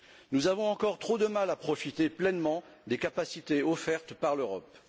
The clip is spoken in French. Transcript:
Nous avons encore trop de mal à profiter pleinement des capacités offertes par l'Europe.